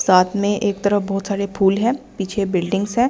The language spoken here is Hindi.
साथ में एक तरफ बहुत सारे फूल है पीछे बिल्डिंग्स है ।